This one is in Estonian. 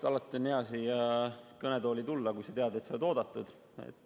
Esmalt, alati on hea siia kõnetooli tulla, kui tead, et sa oled oodatud.